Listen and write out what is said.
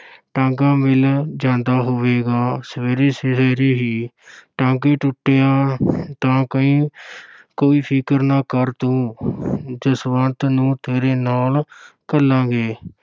ਟਾਂਗਾ ਮਿਲ ਜਾਂਦਾ ਹੋਵੇਗਾ ਸਵੇਰੇ-ਸਵੇਰੇ ਜਿਹੇ ਹੀ ਟਾਂਗੇ ਦਾ ਕਈ ਕੋਈ ਫ਼ਿਕਰ ਨਾ ਕਰ ਤੂੰ ਜਸਵੰਤ ਨੂੰ ਤੇਰੇ ਨਾਲ ਘੱਲਾਂਗੇ।